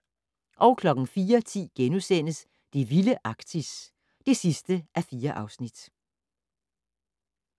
04:10: Det vilde Arktis (4:4)*